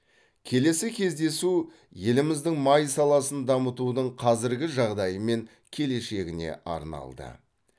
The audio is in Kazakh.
келесі кездесу еліміздің май саласын дамытудың қазіргі жағдайы мен келешегіне арналды